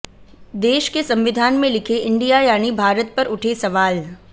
देश के संविधान में लिखे इंडिया यानी भारत पर उठे सवाल